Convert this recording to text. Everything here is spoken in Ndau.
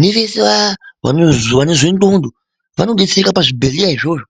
nevese vaya vanozwe ndondo vanodetsereka pazvibhehleya izvozvo .